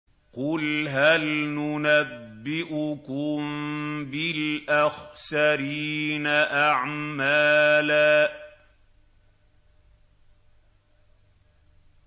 قُلْ هَلْ نُنَبِّئُكُم بِالْأَخْسَرِينَ أَعْمَالًا